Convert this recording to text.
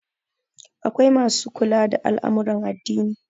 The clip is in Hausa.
akwai masu kula da al'amuran addini